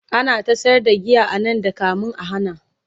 ana ta sayar da giya anan da kamin a hana